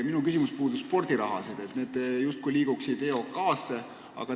Minu küsimus puudutab spordiraha, mis liigub justkui EOK-sse.